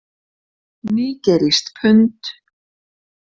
Nígerískt pund.